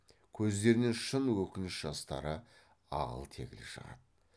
көздерінен шын өкініш жастары ағыл тегіл шығады